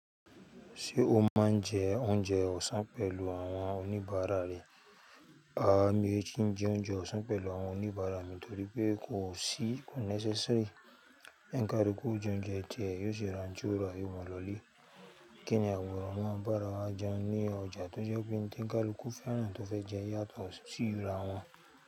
Ṣé o máa ń jẹ oúnjẹ ọ̀sán pẹ̀lú àwọn oníbàárà rẹ? Mi ò kíì jẹ oúnjẹ ọ̀sán pẹ̀lú àwọn oníbàárà mi nítorí pé kò sí-- ko necessary. Onikalulu jẹ oúnjẹ tiẹ yóò si ran ti ó rà yoo maa lo ile. Kíni àbòro maa bàárà wa jẹun ní ọjà tó jẹ́ pé n tí ká luku fẹ́ran tó fẹ́ jẹ yàtọ̀ sí íra wọn.